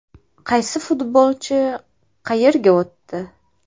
Qaysi futbolchi qayerga o‘tdi?.